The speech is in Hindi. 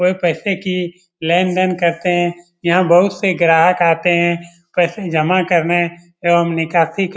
कोई पैसे की लेन-देन करते हैं यहाँ बहोत से ग्राहक आते हैं पैसे जमा करने एवं निकासी क --